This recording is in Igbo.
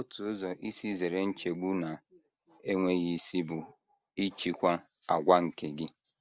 Otu ụzọ isi zere nchegbu na - enweghị isi bụ ịchịkwa àgwà nke gị.